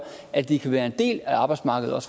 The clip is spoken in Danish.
at de kan være en del af arbejdsmarkedet